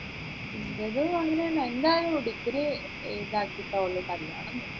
അൻറ്റതും അങ്ങനെ തന്നെ എന്തായാലും degree ഇതാക്കിയിട്ടേ ഉള്ളു കല്യാണം